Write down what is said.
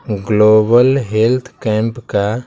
global health camp का--